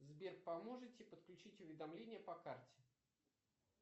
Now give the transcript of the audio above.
сбер поможете подключить уведомления по карте